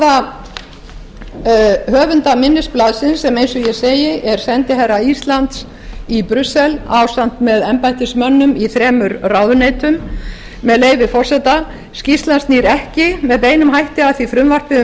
það er niðurstaða höfunda minnisblaðsins sem eins og ég beri er sendiherra íslands í brussel ásamt með embættismönnum í þremur ráðuneytum með leyfi forseta skýrslan snýr ekki með beinum hætti að því frumvarpi um